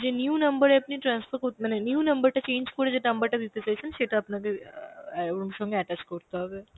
যে new number এ আপনি transfer কর মানে new number টা change করে যে number টা দিতে চাইছেন সেটা আপনাকে অ্যাঁ ওর সঙ্গে attach করতে হবে